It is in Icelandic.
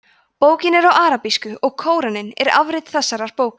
bókin er á arabísku og kóraninn er afrit þessarar bókar